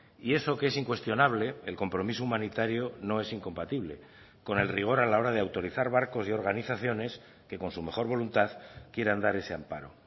y eso que es incuestionable el compromiso humanitario no es incompatible con el rigor a la hora de autorizar barcos y organizaciones que con su mejor voluntad quieran dar ese amparo